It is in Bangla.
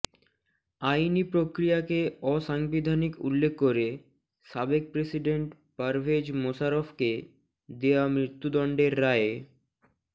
আইনি প্রক্রিয়াকে অসাংবিধানিক উল্লেখ করে সাবেক প্রেসিডেন্ট পারভেজ মোশাররফকে দেয়া মৃত্যুদণ্ডের রায়ে